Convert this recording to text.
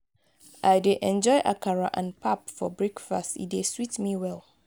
i dey enjoy akara and pap for breakfast; e dey sweet me well.